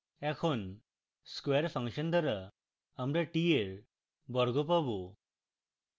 এখন square function দ্বারা আমরা t এর বর্গ পাবো